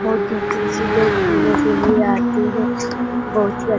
बहुत दूर दूर से लोग घूमने के लिए आते हैं बहुत ही --